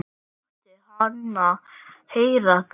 Láttu hana heyra það